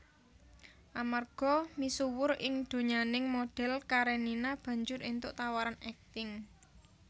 Amarga misuwur ing donyaning modhèl Karenina banjur éntuk tawaran akting